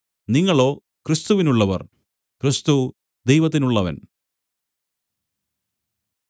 നിങ്ങളോ ക്രിസ്തുവിനുള്ളവർ ക്രിസ്തു ദൈവത്തിനുള്ളവൻ